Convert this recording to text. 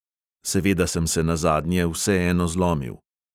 Seveda sem se nazadnje vseeno zlomil.